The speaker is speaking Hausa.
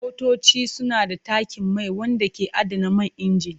Motoci suna da tankin mai wanda ke adana man inji.